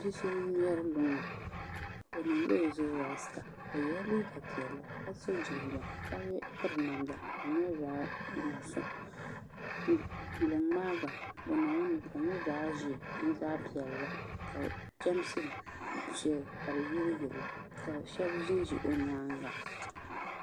Bia so n ŋmɛri luŋa o niŋla o zuɣu rasta o yɛla liiga piɛlli ka so jinjɛm ka piri namda ka di nyɛ zaɣ dozim luŋ maa gba bi niŋ limi ka di nyɛ zaɣ ƶiɛ ni zaɣ piɛlli ka chɛmsi shɛli ka di yiliyili ka shab ʒinʒi o nyaanga